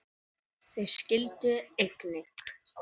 Þau skildu einnig.